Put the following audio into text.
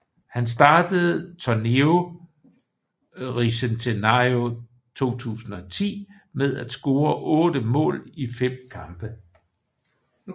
Han startede Torneo Bicentenario 2010 med at score otte mål i fem kampe